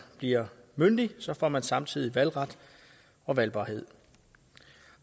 bliver myndig får man samtidig valgret og valgbarhed